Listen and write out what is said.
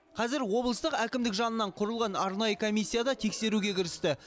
қазір облыстық әкімдік жанынан құрылған арнайы комиссия да тексеруге кірісті